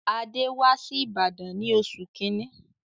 Adé wá si Ìbàdàn ní oṣù kíní.